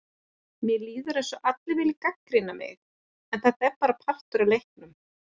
Mér líður eins og allir vilji gagnrýna mig, en þetta er bara partur af leiknum.